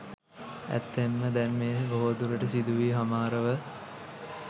ඇත්තෙන්ම දැන් මෙය බොහෝ දුරට සිදුවී හමාරව